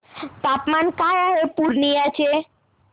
तापमान काय आहे पूर्णिया चे